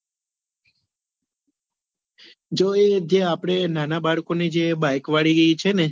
જો એ જે આપડે નાના બાળકો ને જે bike વાળી છે ને